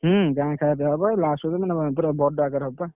ହୁଁ, ଗାଁ ଖାଇଆ ପିଆ ହବ last ପୁରା ବଡ ଆକାରରେ ହବ ବା।